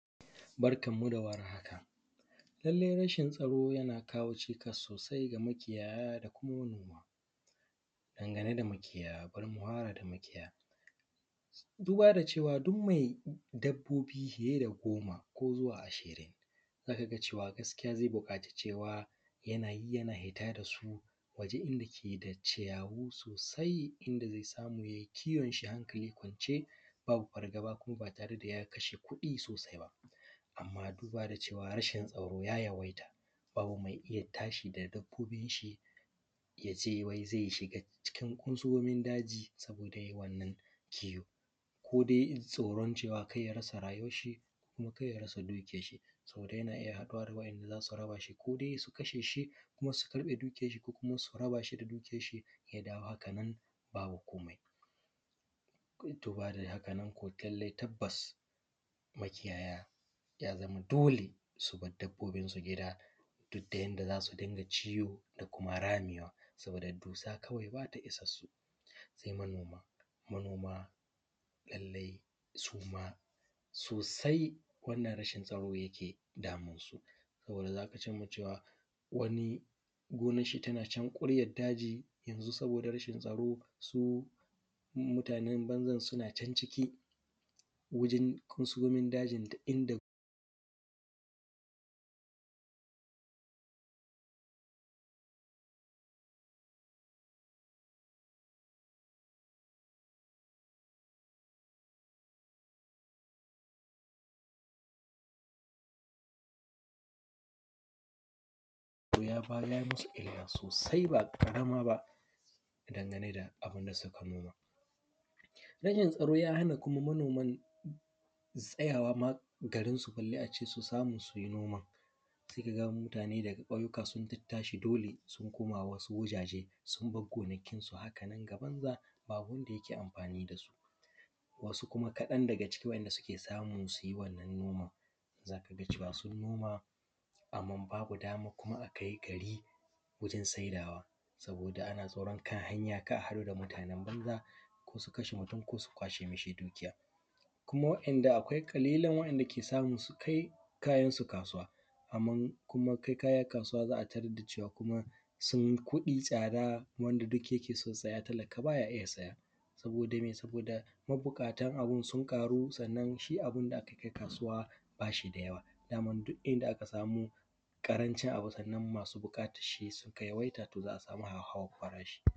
Barkan mu da warhaka lallai rashin tsaro na kawo cikas sosai ga makiyaya da kuma manoma. Bari mufara da makiyaya, duba da cewa duk mai dabbobi fiye da goma ko zuwa ashirin za ka ga cewa lallai zai buƙaci yana fita da su wajen inda ke da ciyawu mai kyau inda zai samu ya yi kiwon shi ba fargaba kuma ba tare da ya kashe kuɗi masu yawa ba. amma duba da cewa rashin tsaro ya yawaita babu mai iya tashi ya dauko dabbobin shi ya ce wai zai shiga daji don ya yi kiwo ko dai don kar ya rasa rayuwan shi ko ya rasa dukiyan shi, saboda yana iya kasancewa ko dai su kashe shi su karɓe dukiyan shi ko su kama shi da dukiyan shi ya dawo hakanan babu komai. Tabbas makiyaya ya zama dole su bar dabbobin su gida duk da yanda za su dinga ciwo da kuma ramewa saboda dussa kawai ba ta isan su sai manoma lallai su ma sosai rashin wannan tsaro ke damunsu saboda za ka ga cewa wani gonan shi tana can ƙuryan daji. mma saboda rashin tsaro su mutanen banzan suna can ciki to hakan ya musu illa ba ƙarami ba dangane da abun da suke nomawa, rashin tsaro ma ya hana mutane tsayawa a garin su bare su yi noma sai ka ga mutanen ƙauyuka sun tashi dole sun bar gonakin su haka nan ga banza babu wanda ke amfani da su, wasu kuma kaɗan daga ciki za ka ga cewa sun noma amma babu daman su kai gari domin siyarwa ko da ana tsoron kan hanya kar a haɗu da mutanen banza su kashe mutun ko su kwashe masa dukiya kuma akwaiƙalilan waɗanda suke samu su kai kayan su kasuwa amman kuma kai kaya kasuwa z aa tarar da cewa kuma sun kuɗi tsada wanda duk yake son saya talaka baya iya saya saboda mabukatan abun sun ƙaru sannan shi abun da aka kai kasuwa ba shi da yawa.